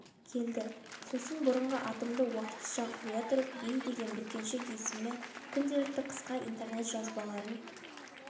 келді сосын бұрынғы атымды уақытша қоя тұрып бей деген бүркеншек есіммен күнделікті қысқа интернет жазбаларын